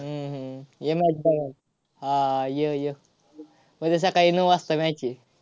हम्म हम्म ये match बघायला. हा, हा, य, य. उद्या सकाळी नऊ वाजता match आहे.